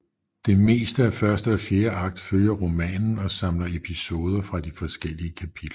Det meste af første og fjerde akt følger romanen og samler episoder fra de forskellige kapitler